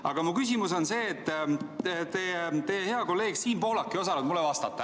Aga teie hea kolleeg Siim Pohlak ei osanud mulle vastata.